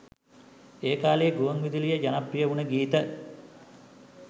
ඒ කාලයේ ගුවන් විදුලියේ ජනප්‍රිය වුණ ගීත.